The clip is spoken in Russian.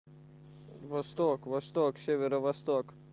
восток восток северо восток